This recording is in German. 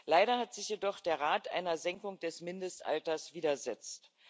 Leider hat sich jedoch der Rat einer Senkung des Mindestalters widersetzt.